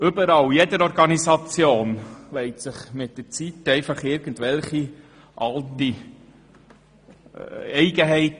Überall, in jeder Organisation, entstehen mit der Zeit irgendwelche Eigenheiten.